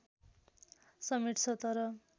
समेट्छ तर